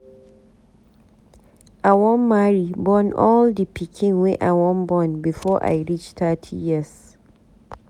I wan marry born all di pikin wey I wan born before I reach thirty years.